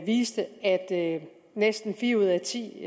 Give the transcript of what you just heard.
viste at næsten fire ud af ti